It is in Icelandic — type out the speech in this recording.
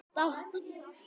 Ástkær móðir mín er látin.